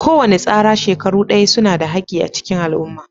Kowane tsara shekaru Daya suna da haki a cikin al'umma.